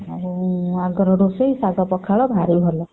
ଆଉ ଆଗର ରୋଷେଇ ଶାଗ ପଖାଳ ଭାରୀ ଭଲ।